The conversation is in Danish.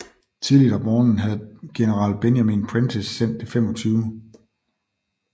Tidligt om morgenen havde general Benjamin Prentiss sendt det 25